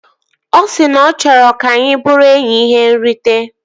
Ọ si na ọ chọrọ ka anyị bụrụ enyi ihe nrite